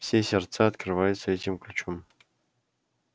все сердца открываются этим ключом